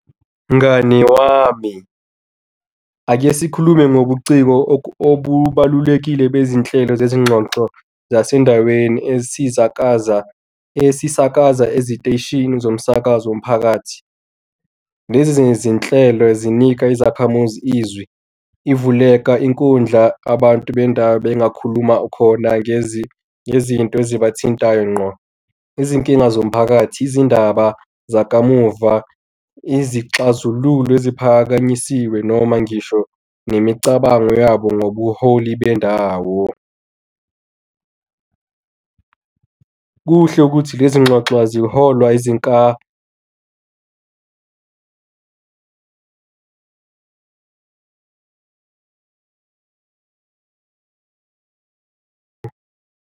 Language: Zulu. Mngani wami ake sikhulume ngobuciko obubalulekile bezinhlelo zezingxoxo zasendaweni ezisakaza, esisakaza eziteshini zomsakazo womphakathi. Lezi zinhlelo zinika izakhamuzi izwi. Ivuleka inkundla abantu bendawo bengakhuluma ukhona ngezinto ezibathintayo ngqo, izinkinga zomphakathi, izindaba zakamuva, izixazululo eziphakanyisiwe noma ngisho nemicabango yabo ngobuholi bendawo. Kuhle ukuthi lezinxoxo aziholwa .